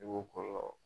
I b'o kɔlɔlɔ